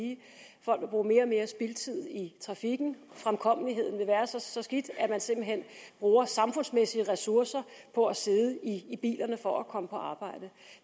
folk vil bruge mere og mere spildtid i trafikken fremkommeligheden vil være så skidt at man simpelt hen bruger samfundsmæssige ressourcer på at sidde i bilerne for at komme på arbejde